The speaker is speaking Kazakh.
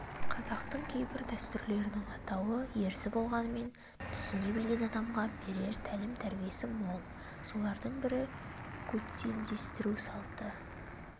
қазақтың кейбір дәстүрлерінің атауы ерсі болғанмен түсіне білген адамға берер тәлім-тәрбиесі мол солардың бірі көтендестіру салты